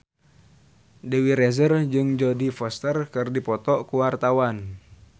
Dewi Rezer jeung Jodie Foster keur dipoto ku wartawan